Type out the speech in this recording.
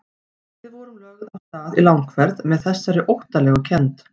Við vorum lögð af stað í langferð með þessari óttalegu kennd.